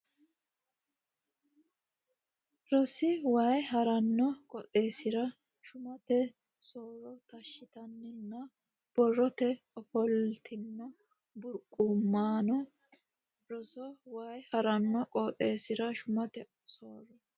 Rsn Way ha ranno qooxeessira shumate so ro taashshitinanni borrote ofollatenni burquuqamanno Rsn Way ha ranno qooxeessira shumate so ro.